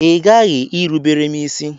Ị ghaghị irubere m isi!